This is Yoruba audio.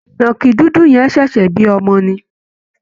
ìnàkì dúdú yẹn ṣẹ̀ṣẹ̀ bí ọmọ ni